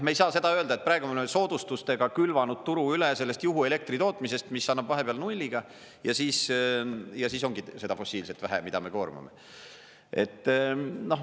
Me ei saa seda öelda, et praegu me oleme soodustustega külvanud turu üle sellest juhuelektri tootmisest, mis annab vahepeal nulliga, ja siis ongi seda fossiilset vähe, mida me koormame.